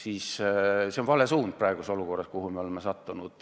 Aga see on vale suund olukorras, kuhu me oleme sattunud.